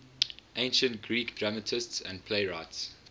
ancient greek dramatists and playwrights